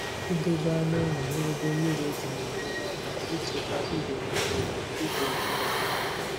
Idobe anụ ụlọ n'ebe mmiri dị na-enyere aka ichekwa ndụ mmiri na ịdị mma mmiri.